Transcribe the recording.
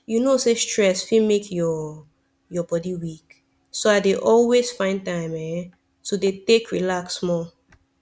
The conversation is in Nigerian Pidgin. you know say stress fit make your your body weak so i dey always find time eh to dey take relax small